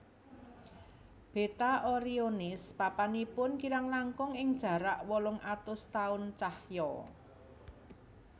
Beta Orionis papanipun kirang langkung ing jarak wolung atus taun cahya